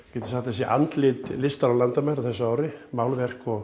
getum sagt að sé andlit listar án landamæra á þessu ári málverk og